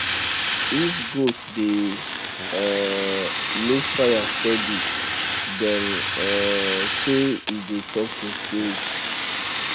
if goat dey um look fire steady dem um say e dey talk to spirits